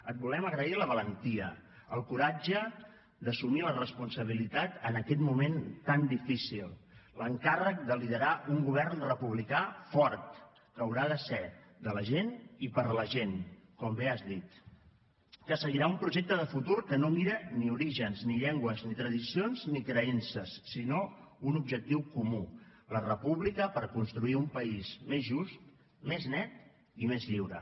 et volem agrair la valentia el coratge d’assumir la responsabilitat en aquest moment tan difícil l’encàrrec de liderar un govern republicà fort que haurà de ser de la gent i per a la gent com bé has dit que seguirà un projecte de futur que no mira ni orígens ni llengües ni tradicions ni creences sinó un objectiu comú la república per a construir un país més just més net i més lliure